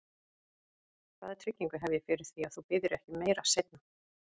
Hvaða tryggingu hef ég fyrir því, að þú biðjir ekki um meira seinna?